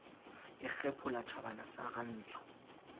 e kgephola tjhabana sa rantsho